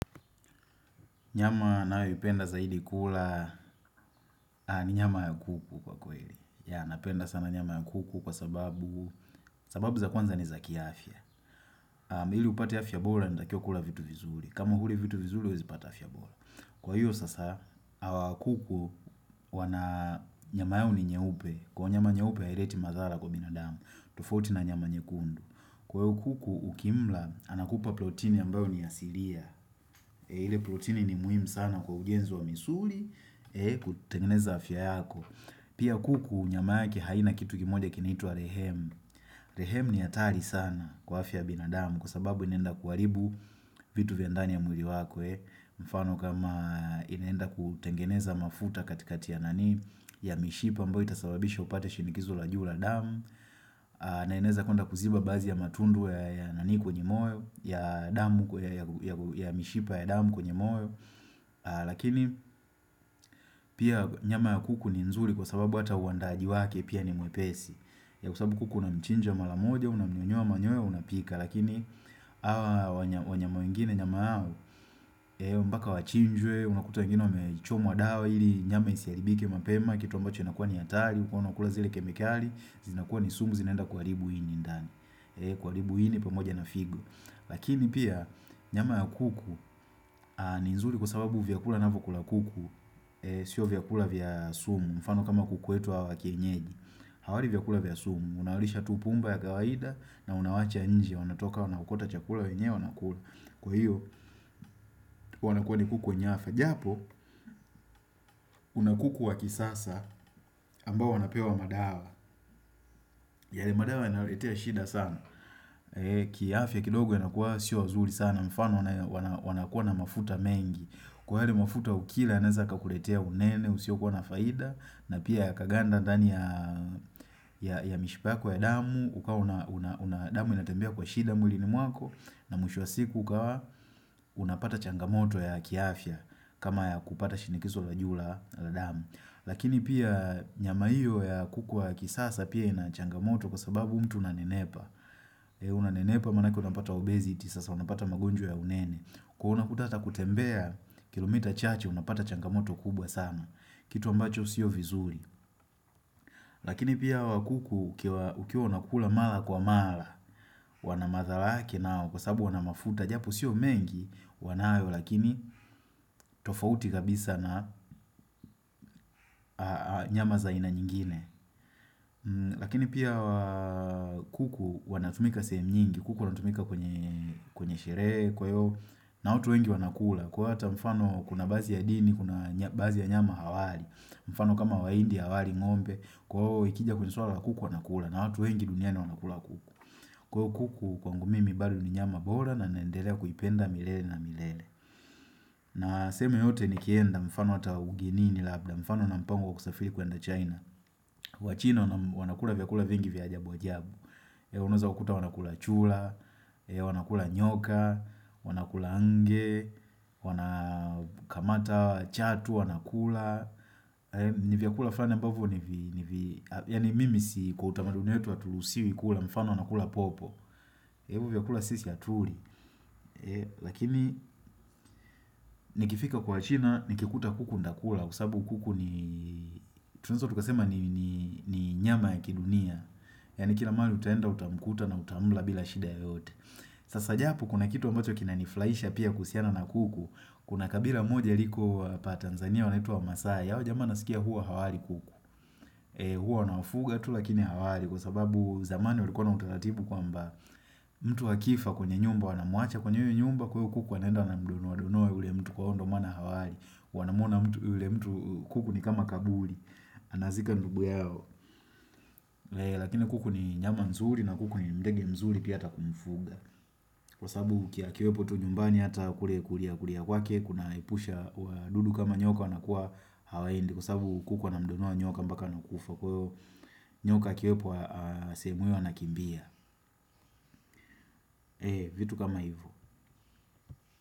Nyama nayoipenda zaidi kula ni nyama ya kuku kwa kweli. Yeah, napenda sana nyama ya kuku kwa sababu, sababu za kwanza ni za kiafya. Ili upate afya bora, unatakiwa kula vitu vizuri. Kama huli vitu vizuri, huwezi pata afya bora. Kwa hiyo, sasa, kuku, wana, nyama yao ni nyeupe. Kwa nyama nyeupe, haileti madhara kwa binadamu. Tofauti na nyama nyekundu. Kwa hiyo kuku, ukimla, anakupa protini ambayo ni asilia. Ile proteini ni muhimu sana kwa ujenzi wa misuli, kutengeneza afya yako. Pia kuku nyama yake haina kitu kimoja kinaitwa rehemu Rehem ni hatari sana kwa afya binadamu, kwa sababu inaenda kuharibu vitu vya ndani ya mwili wako. Mfano kama inaenda kutengeneza mafuta katikati ya mishipa ambayo itasababisha upate shinikizo la juu la damu na inaweza kuenda kuziba baadhi ya matundu ya nani kwenye moyo, ya damu ya mishipa ya damu kwenye moyo. Lakini pia nyama ya kuku ni nzuri kwa sababu hata uandaaji wake pia ni mwepesi. Kwa sababu kuku unamchinja mara moja, unamnyonyoa manyoya, unapika. Lakini hawa wanyama wengine nyama yao, mpaka wachinjwe unakuta wengine wamechomwa dawa ili nyama isiharibike mapema kitu ambacho inakuwa ni hatari huwa unakula zile kemikali, zinakua ni sumu zinaenda kuharibu ini ndani. Kuharibu ini pamoja na figo Lakini pia, nyama ya kuku ni nzuri kwa sababu vyakula anavyokula kuku, sio vyakula vya sumu mfano kama kuku wetu hawa wa kienyeji hawali vyakula vya sumu, unawalisha tu pumba ya kawaida na unawaacha nje wanatoka wanaokota chakula wenyewe wanakula. Kwa hiyo, wanakuwa ni kuku wenye afya. Japo, kuna kuku wa kisasa ambao wanapewa madawa. Yale madawa yanawaletea shida sana. Kiafya kidogo yanakuwa sio wazuri sana. Mfano wanakuwa na mafuta mengi kwa yale mafuta ukila yanaweza kakuletea unene usio kuwa na faida na pia yakaganda ndani ya ya mishipa yako ya damu, ukawa una damu inatembea kwa shida mwili ni mwako, na mwisho wa siku ukawa unapata changamoto ya kiafya kama ya kupata shinikizo la juu la damu. Lakini pia nyama hiyo ya kuku wa kisasa pia ina changamoto kwa sababu mtu unanenepa unanenepa manake unapata obesity sasa, unapata magonjwa ya unene. Kwa hiyo unakuta hata kutembea kilomita chache unapata changamoto kubwa sana, kitu ambacho sio vizuri. Lakini pia hawa kuku ukiwa unakula mara kwa mara wana madhara yake nao kwa sababu wana mafuta japo sio mengi, wanayo lakini tofauti kabisa na nyama za aina nyingine. Lakini pia hawa kuku wanatumika sehemu nyingi. Kuku wanatumika kwenye sherehe, kwa hiyo, na watu wengi wanakula. Kwa hiyo hata mfano kuna baadhi ya dini, kuna baadhi ya nyama hawali. Mfano kama wahindi hawali ng'ombe. Kwa hiyo ikija kwenye swala la kuku wanakula. Na watu wengi duniani wanakula kuku. Kwa hiyo kuku kwangu mimi bado ni nyama bora na naendelea kuipenda milele na milele. Nasema yote nikienda mfano hata ugenini labda, mfano una mpango kusafiri kwenda China. Wachina wanakula vyakula vingi vya ajabu ajabu. Unaweza wakuta wanakula chura, wanakula nyoka, wanakula nge, wanakamata chatu, wanakula. Ni vyakula fulani ambavyo, yaani mimi si, kwa utamaduni wetu haturuhusiwi kula, mfano wanakula popo. Hivo vyakula sisi hatuli. Lakini nikifika kwa wachina, nikikuta kuku nitakula, kwa sababu kuku ni, tunaweza tukasema ni nyama ya kidunia. Yaani kila mahali utaenda utamkuta na utamla bila shida yoyote. Sasa japo kuna kitu ambacho kina nifurahisha pia kuhusiana na kuku. Kuna kabila moja liko hapa Tanzania wanaitwa wamaasai, hawa jamaa nasikia huwa hawali kuku Huwa wanawafuga tu lakini hawali. Kwa sababu zamani walikuwa na utaratibu kwamba, mtu akifa kwenye nyumba wanamwacha kwenye hiyo nyumba kwa hiyo kuku wanenda wanamdonoadonoa yule mtu kwa hiyo ndo maana hawali Wanamwona yule mtu, kuku ni kama kaburi Anazika ndugu yao. Lakini kuku ni nyama nzuri na kuku ni ndege mzuri pia hata kumfuga. Kwa sababu akiwepo tu nyumbani hata kule kuliakulia kwake kunaepusha wadudu kama nyoka wanakuwa hawaendi kwa sababu kuku anamdonoa nyoka mpaka anakufa. Kwa hiyo, nyoka akiwepo sehemu hiyo anakimbia vitu kama hivyo.